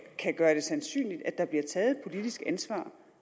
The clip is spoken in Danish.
kan gøre det sandsynligt at der bliver taget et politisk ansvar